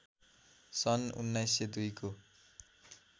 सन् १९०२ को